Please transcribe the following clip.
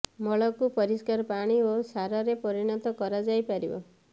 ମଳକୁ ପରିଷ୍କାର ପାଣି ଓ ସାରରେ ପରିଣତ କରାଯାଇ ପାରିବ